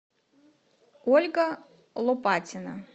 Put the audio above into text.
ольга лопатина